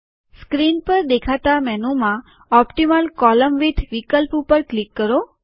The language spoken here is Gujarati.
સ્ક્રીન પર દેખાતા મેનુમાં ઓપટીમલ કોલમ વિદ્થ વિકલ્પ ઉપર ક્લિક કરો